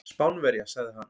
Spánverja, sagði hann.